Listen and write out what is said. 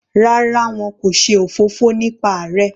Rárá, wọn kò ṣe òfófó nípa rẹ.